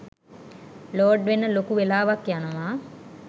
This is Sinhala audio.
ලෝඩ් වෙන්න ලොකු වෙලාවක් යනවා